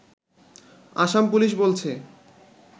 Assam police বলছে